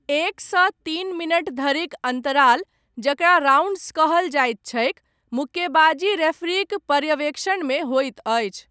एकसँ तीन मिनट धरिक अन्तराल, जकरा राउण्ड्स कहल जाइत छैक, मुक्केबाजी रेफरीक पर्यवेक्षणमे होइत अछि